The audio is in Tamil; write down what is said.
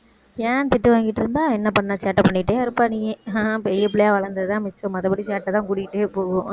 ஏன் திட்டு வாங்கிட்டிருந்த, என்ன பண்ண, சேட்ட பண்ணிட்டே இருப்ப நீ, பெரிய பிள்ளையா வளர்ந்ததுதான் மிச்சம் மத்தபடி சேட்டைதான் கூடிக்கிட்டே போகும்